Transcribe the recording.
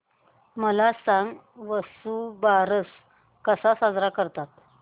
मला सांग वसुबारस कसा साजरा करतात